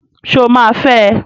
Sọ ma fẹ?